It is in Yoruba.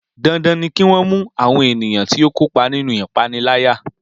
Dandan ni kí wọ́n mú àwọn ènìyàn tí ó kópa nínú ìpániláyà